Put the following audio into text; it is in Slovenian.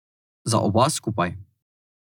Za oba skupaj.